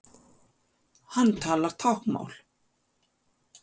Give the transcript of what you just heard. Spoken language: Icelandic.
Hann talar táknmál.